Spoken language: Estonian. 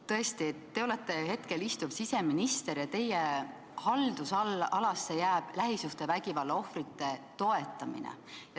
Tõesti, te olete hetkel siseminister ja teie haldusalasse jääb lähisuhtevägivalla ohvrite toetamine.